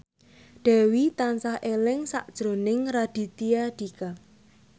Dewi tansah eling sakjroning Raditya Dika